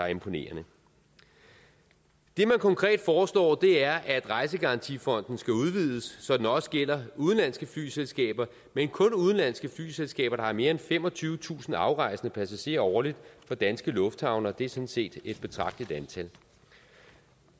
imponerende det man konkret foreslår er at rejsegarantifonden skal udvides så den også gælder udenlandske flyselskaber men kun udenlandske flyselskaber der har mere end femogtyvetusind afrejsende passagerer årligt fra danske lufthavne og det er sådan set et betragteligt antal